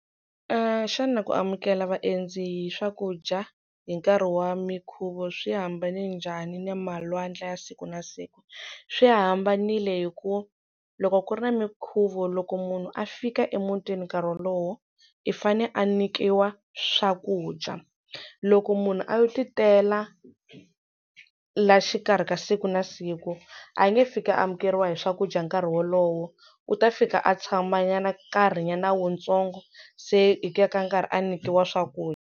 Xana ku amukela vaendzi hi swakudya hi nkarhi wa minkhuvo swi hambane njhani na malwandla ya siku na siku? Swi hambanile hi ku loko ku ri na minkhuvo loko munhu a fika emutini nkarhi wolowo i fane a nyikiwa swakudya loko munhu a yo ti tela la xikarhi ka siku na siku a nge fiki a amukeriwa hi swakudya nkarhi wolowo u ta fika a tshama nyana nkarhi nyana wutsongo se hi ku ya ka nkarhi a nyikiwa swakudya.